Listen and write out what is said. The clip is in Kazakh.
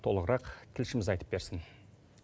толығырақ тілшіміз айтып берсін